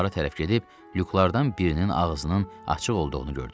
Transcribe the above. Anbara tərəf gedib lüklardan birinin ağzının açıq olduğunu gördük.